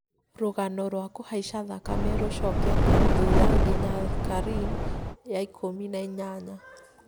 rũgano rwa kũhaica thakame rũcokete thutha nginya karine ya ikũmi na inyanya